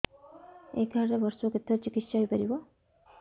ଏଇ କାର୍ଡ ରେ ବର୍ଷକୁ କେତେ ଥର ଚିକିତ୍ସା ହେଇପାରିବ